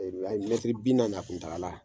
bi naani a kuntakala.